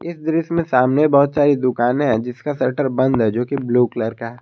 इस दृश्य में सामने बहोत सारी दुकानें है जिसका शटर बंद है जो की ब्लू कलर का--